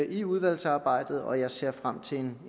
i udvalgsarbejdet og jeg ser frem til